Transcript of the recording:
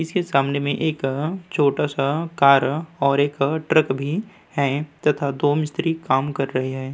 इसके सामने में एक छोटा सा कार और एक ट्रक भी है तथा दो मिस्त्री काम कर रहे हैं।